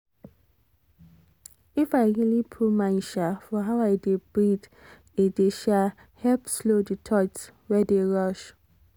if i really put mind um for how i dey breathe e dey um help slow the thoughts wey dey rush